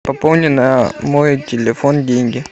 пополни на мой телефон деньги